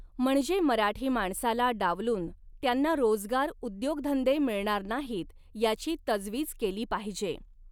म्हणजे मराठी माणसाला डावलून त्यांना रोजगार उद्योगधंदे मिळणार नाहीत, याची तजवीज केली पाहिजे.